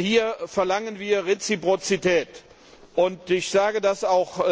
Hier verlangen wir Reziprozität. Ich sage auch